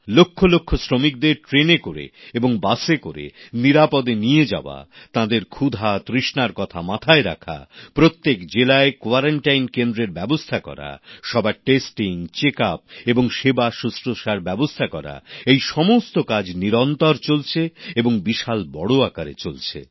লক্ষলক্ষ শ্রমিকদের ট্রেনে করে এবং বাসে করে নিরাপদে নিয়ে যাওয়া তাঁদের ক্ষুধাতৃষ্ণার কথা মাথায় রাখা প্রত্যেক জেলায় কোয়ারান্টাইন কেন্দ্রের ব্যবস্থা করা সবার নমুনা পরীক্ষা স্বাস্থ্য পরীক্ষা এবং সেবা শুশ্রূষার ব্যবস্থা করা এই সমস্ত কাজ নিরন্তর চলছে এবং বিশাল বড় আকারে চলছে